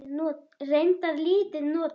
Reyndar lítið notað.